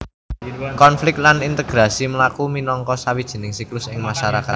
Konflik lan integrasi mlaku minangka sawijining siklus ing masarakat